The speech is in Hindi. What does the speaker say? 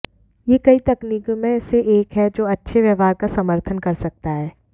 यह कई तकनीकों में से एक है जो अच्छे व्यवहार का समर्थन कर सकता है